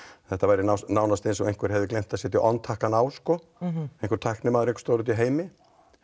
þetta væri nánast eins og einhver hefði gleymt að setja on takkann á einhver tæknimaður úti í heimi